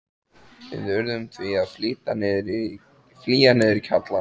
Við urðum því að flýja niður í kjallarann.